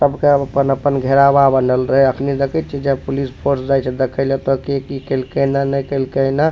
सबके अपन-अपन घेरावा बनल रहे अखनी देखे छीये जे पुलिस फोर्स जाय छै देखे ला एता के की केल के ना ने केल के ने।